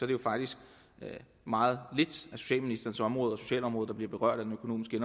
det faktisk er meget lidt af socialministerens område socialområdet der bliver berørt af den økonomiske